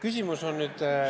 Küsimus on nüüd ...